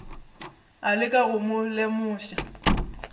a leka go mo lemoša